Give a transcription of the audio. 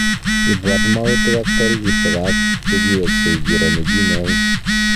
Ibwat mwautik ak tarikishek �ab che kiweksei kiro nekinyaain.